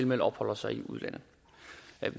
med opholder sig i udlandet